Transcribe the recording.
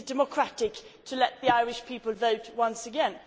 Is it democratic to let the Irish people vote once again?